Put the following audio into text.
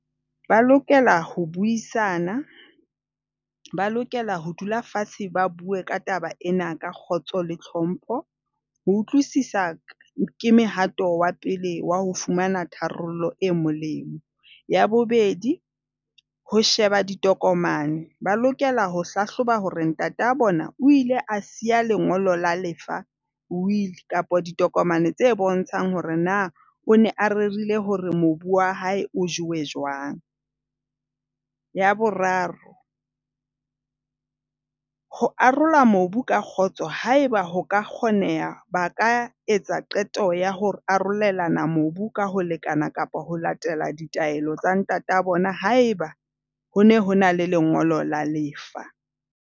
Ba lokela ho buisana. Ba lokela ho dula fatshe ba bue ka taba ena ka kgotso le tlhompho. Ho utlwisisa ke mehato wa pele wa ho fumana tharollo e molemo. Ya bobedi, ho sheba ditokomane. Ba lokela ho hlahloba hore ntate wa bona o ile a siya lengolo la lefa, will, kapa ditokomane tse bontshang hore na o ne a rerile hore mobu wa hae o jewe jwang. Ya boraro, ho arola mobu ka kgotso haeba ho ka kgoneha. Ba ka etsa qeto ya ho arolelana mobu ka ho lekana kapa ho latela ditaelo tsa ntate wa bona haeba ho ne ho na le lengolo la lefa.